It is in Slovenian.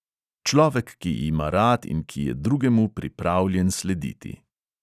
Človek, ki ima rad in ki je drugemu pripravljen slediti.